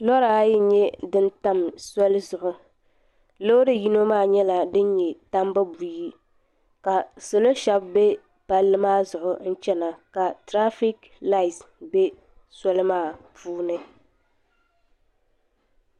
Loora ayi n- nyɛ din tam soli zuɣu loori yino maa nyɛ din nyɛ tambu buying ka salo shɛba be palli maa zuɣu n-chana ka tirafiklat be soli maa puuni.